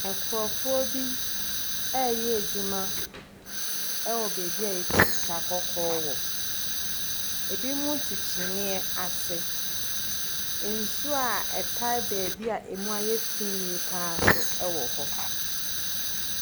Nkurɔfoɔ bi reyɛ adwuma wɔ baabi a yɛtu sika kɔkɔɔ wɔ. Ebinom te kyimmiiɛ ase. Nsuo a ɛtae baabi a emu ayɛ fi yie pa ara nso wɔ hɔ.